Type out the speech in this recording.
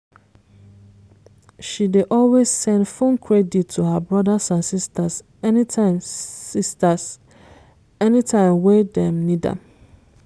she dey always send phone credit to her brothers and sisters anytime sisters anytime wey dem need am.